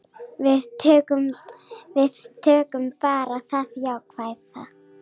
Við tökum bara það jákvæða.